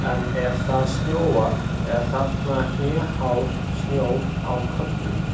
En ef það snjóar er þarna hnéhár snjór á köflum.